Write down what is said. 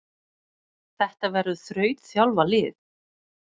Þetta verður þrautþjálfað lið.